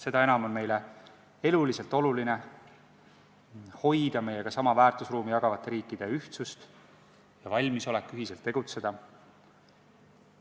Seda enam on meie jaoks eluliselt oluline hoida meiega sama väärtusruumi jagavate riikide ühtsust ja valmisolekut ühiselt tegutseda.